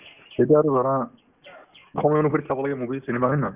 এতিয়া আৰু ধৰা সময় অনুসৰি চাব লাগে movie cinema হয় নে নহয়